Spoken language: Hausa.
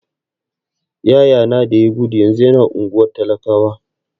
Yaya na da ya gudu yanzu yana unguwar talakawa.